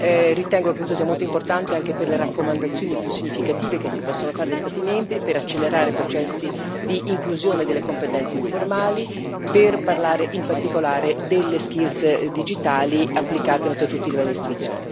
Ritengo che questo sia molto importante anche per le raccomandazioni più significative che si possono fare agli Stati membri per accelerare i processi di inclusione delle competenze informali, per parlare in particolare delle competenze digitali applicate a tutti i livelli di istruzione.